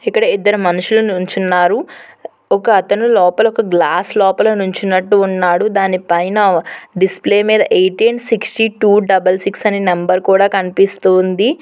ఇక్కడ ఇద్దరు మనుషులు నుంచున్నారు ఒకతను లోపల ఒక గ్లాస్ లోపల నుంచునట్టు ఉన్నాడు దాని పైన డిస్ప్లే మీద eighteen sixty two double six అని నెంబర్ కూడా కనిపిస్తుంది.